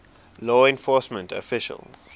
law enforcement officials